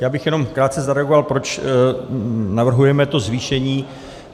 Já bych jenom krátce zareagoval, proč navrhujeme to zvýšení.